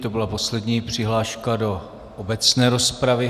To byla poslední přihláška do obecné rozpravy.